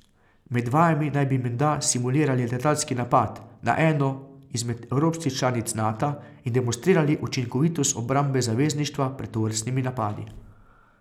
Med vajami naj bi menda simulirali letalski napad na eno izmed evropskih članic Nata in demonstrirali učinkovitost obrambe zavezništva pred tovrstnimi napadi.